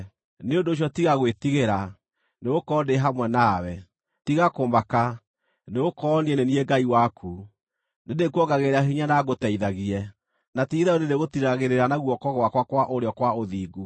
Nĩ ũndũ ũcio tiga gwĩtigĩra, nĩgũkorwo ndĩ hamwe nawe; tiga kũmaka, nĩgũkorwo niĩ nĩ niĩ Ngai waku. Nĩndĩkuongagĩrĩra hinya na ngũteithagie; na ti-itherũ nĩndĩrĩgũtiiragĩrĩra na guoko gwakwa kwa ũrĩo kwa ũthingu.